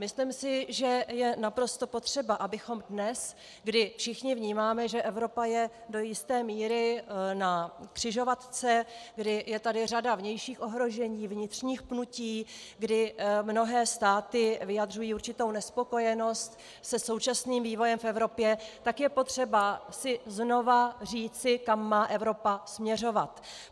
Myslím si, že je naprosto potřeba, abychom dnes, kdy všichni vnímáme, že Evropa je do jisté míry na křižovatce, kdy je tady řada vnějších ohrožení, vnitřních pnutí, kdy mnohé státy vyjadřují určitou nespokojenost se současným vývojem v Evropě, tak je potřeba si znova říci, kam má Evropa směřovat.